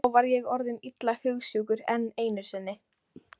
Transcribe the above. Þá var ég orðinn illa hugsjúkur enn einu sinni.